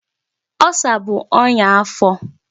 Ulcer bụ ọnya afọ.